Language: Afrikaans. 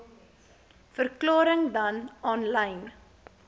verklarings dan aanlyn